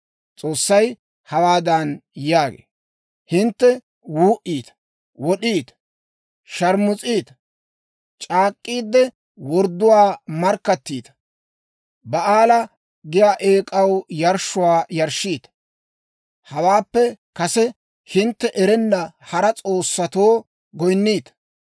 S'oossay hawaadan yaagee; «Hintte wuu"iita, wod'iita, shaarmus'iita, c'aak'k'iide wordduwaa markkattiita, Ba'aala giyaa eek'aw yarshshuwaa yarshshiita, hawaappe kase hintte erenna hara s'oossatoo goyinniita.